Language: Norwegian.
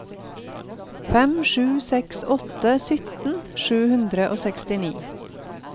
fem sju seks åtte sytten sju hundre og sekstini